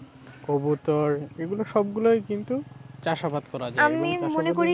এগুলো সবগুলোই কিন্তু চাষাবাদ করা যায়,